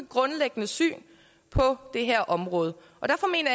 grundlæggende syn på det her område derfor mener